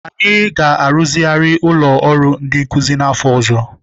Anyị ga-arụzigharị ụlọ ọrụ ndi nkuzi n'afọ ọzọ.